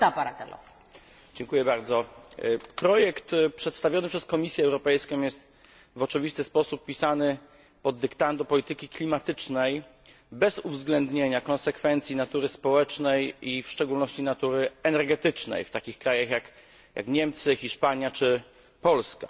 Pani Przewodnicząca! Projekt przedstawiony przez Komisję Europejską jest w oczywisty sposób pisany pod dyktando polityki klimatycznej bez uwzględnienia konsekwencji natury społecznej, a w szczególności energetycznej, w takich krajach jak Niemcy, Hiszpania czy Polska.